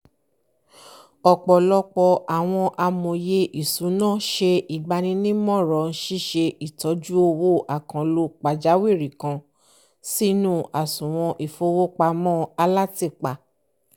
ọ̀pọ̀lọpọ̀ àwon amòye ìsúná se ìgbànímọ̀ràn síse ìtọ̀jú owó àkànlò pàjáwìrì kan sínú àsùwọ̀n ìfowópamọ́ alátìpa